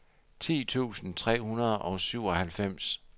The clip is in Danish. ti tusind tre hundrede og syvoghalvfems